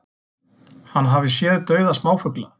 Hann hafi séð dauða smáfugla